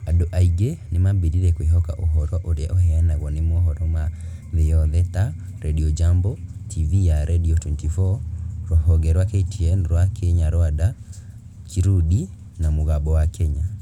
Andũ aingĩ nĩ maambĩrĩirie kwĩhoka ũhoro ũrĩa ũheanagwo nĩ mohoro ma thĩ yothe ta Radio Jambo, TV ya Nairobi24, rũhonge rwa KTN rwa Kinyarwanda/Kirundi, na Mũgambo wa Kenya.